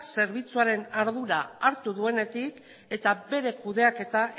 zerbitzuaren ardura hartu duenetik eta bere kudeaketa